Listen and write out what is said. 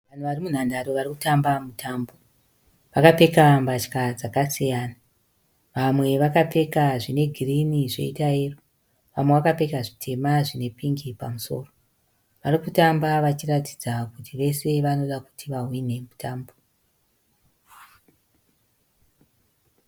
Vanhu vari munhandare vari kutamba mutambo. Vakapfeka mbatya dzakasiyana. Vamwe vakapfeka zvine girini zvoita yero, vamwe vakapfeka zvitema zvine pingi pamusoro. Vari kutamba vachiratidza kuti vese vanoda kuti vahwine mutambo.